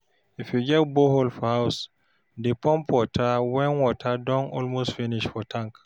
if yu get borehole for house, dey pump water wen water don almost finish for tank